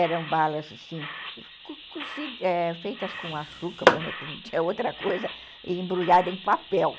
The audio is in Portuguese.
Eram balas assim feitas com açúcar mesmo, não tinha outra coisa, e embrulhadas em papel.